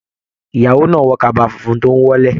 Ìyàwó náà wọ kaba fúnfún tó n wọ́lẹ̀.